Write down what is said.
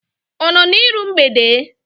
Ọ nọ iru mgbede?